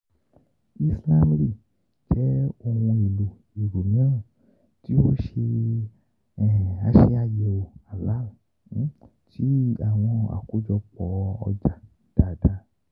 Islamly jẹ ohun elo ero miiran ti o ṣe ase-ayewo halal ti awọn akojopo oja daradara.